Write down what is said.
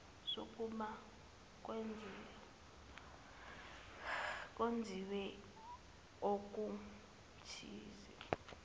sokuba kwenziwe okuthize